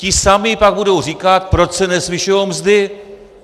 Ti samí pak budou říkat: proč se nezvyšují mzdy?